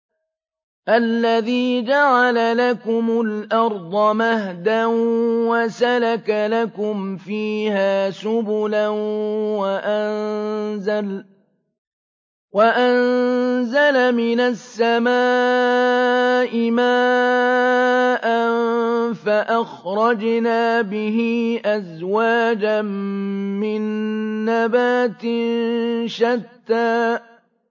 الَّذِي جَعَلَ لَكُمُ الْأَرْضَ مَهْدًا وَسَلَكَ لَكُمْ فِيهَا سُبُلًا وَأَنزَلَ مِنَ السَّمَاءِ مَاءً فَأَخْرَجْنَا بِهِ أَزْوَاجًا مِّن نَّبَاتٍ شَتَّىٰ